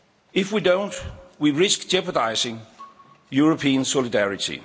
If we don't, we risk jeopardising European solidarity.